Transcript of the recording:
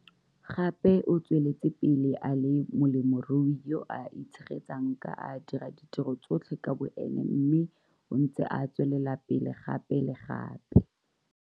Gape o tsweletse pele a le molemirui yo a itshegetsang ka a dira ditiro tsotlhe ka boene mme o ntse a tswelela pele gape le gape.